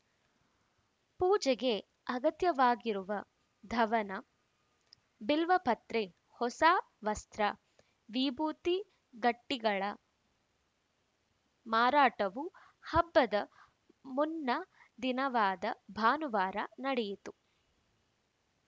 ಪೂಜೆಗೆ ಅಗತ್ಯವಾಗಿರುವ ಧವನ ಬಿಲ್ವಪತ್ರೆ ಹೊಸ ವಸ್ತ್ರ ವಿಭೂತಿ ಗಟ್ಟಿಗಳ ಮಾರಾಟವೂ ಹಬ್ಬದ ಮುನ್ನ ದಿನವಾದ ಭಾನುವಾರ ನಡೆಯಿತು